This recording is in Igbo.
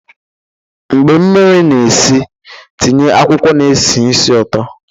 mgbe mmiri na-esi, tinye akwụkwọ na-esi ísì ụtọ